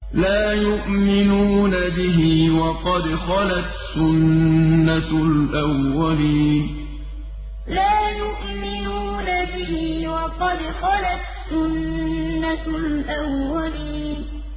لَا يُؤْمِنُونَ بِهِ ۖ وَقَدْ خَلَتْ سُنَّةُ الْأَوَّلِينَ لَا يُؤْمِنُونَ بِهِ ۖ وَقَدْ خَلَتْ سُنَّةُ الْأَوَّلِينَ